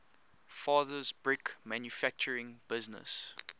father's brick manufacturing business